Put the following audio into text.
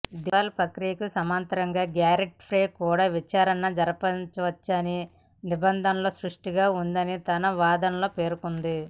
దివాలా ప్రక్రియకు సమాంతరంగా గ్యారెంటర్పై కూడా విచారణ జరపవచ్చని నిబంధనల్లో స్పష్టంగా ఉందని తన వాదనల్లో పేర్కొంది